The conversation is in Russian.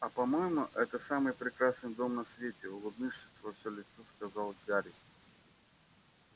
а по-моему это самый прекрасный дом на свете улыбнувшись во всё лицо сказал гарри